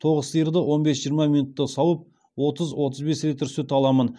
тоғыз сиырды он бес жиырма минутта сауып отыз отыз бес литр сүт аламын